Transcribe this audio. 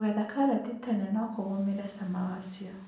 Kũgetha karati tene nokũgũmire cama wacio.